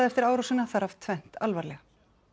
eftir árásina þar af tvennt alvarlega